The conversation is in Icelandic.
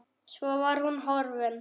Svo var hún horfin.